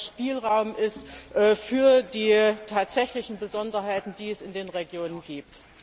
Spielraum bleibt für die tatsächlichen Besonderheiten, die es in den Regionen gibt.